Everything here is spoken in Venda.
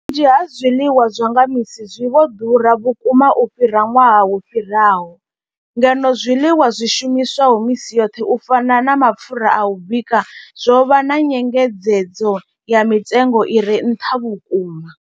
Vhunzhi ha zwiḽiwa zwa nga misi zwi vho ḓura vhukuma u fhira ṅwaha wo fhiraho, ngeno zwiḽiwa zwi shumiswaho misi yoṱhe u fana na mapfhura a u bika zwo vha na nyengedzedzo ya mitengo i re nṱha vhukuma.